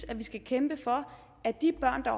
at vi skal kæmpe for at de børn der